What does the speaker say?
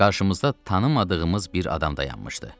Qarşımızda tanımadığımız bir adam dayanmışdı.